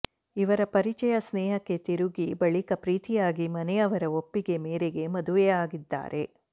ಇವರ ಪರಿಚಯ ಸ್ನೇಹಕ್ಕೆ ತಿರುಗಿ ಬಳಿಕ ಪ್ರೀತಿಯಾಗಿ ಮನೆಯವರ ಒಪ್ಪಿಗೆ ಮೆರಿಗೆ ಮದುವೆಯಾಗಿದ್ದಾರೆ